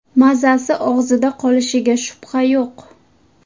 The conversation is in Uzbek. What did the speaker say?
Mazasi og‘izda qolishiga shubha yo‘q.